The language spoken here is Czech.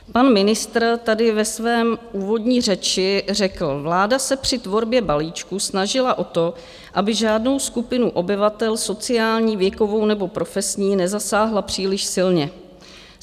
Pan ministr tady ve své úvodní řeči řekl: Vláda se při tvorbě balíčku snažila o to, aby žádnou skupinu obyvatel sociální, věkovou nebo profesní nezasáhla příliš silně.